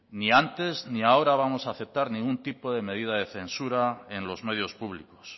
ni antes ni ahora vamos a aceptar ningún tipo de medida de censura en los medios públicos